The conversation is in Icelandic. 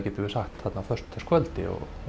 þarna á föstudagskvöldi og